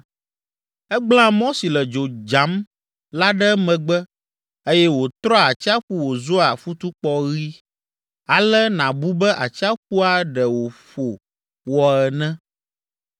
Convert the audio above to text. Egblẽa mɔ si le dzo dzam la ɖe emegbe eye wòtrɔa atsiaƒu wòzua futukpɔ ɣi, ale nàbu be atsiaƒua ɖe wòƒo wɔ ene.